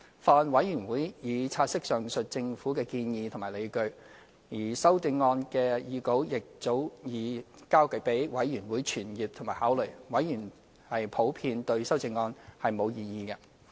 法案委員會已察悉上述政府的建議和理據，而修正案的擬稿亦早已交予法案委員會傳閱和考慮，委員普遍對修正案並無異議。